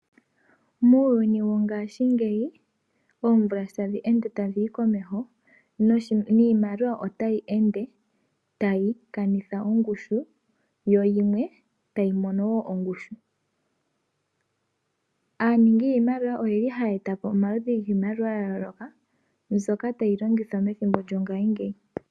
Muuyuni wongashingeyi, oomvula sho tadhi ende tadhi yi komeho, niimaliwa otayi ende tayi kanitha ongushu, yo yimwe tayi mono wo ongushu. Aaningi yiimaliwa oyeli haya eta po omaludhi giimaliwa ya yooloka, mbyoka tayi longithwa methimbo lyongashingeyi.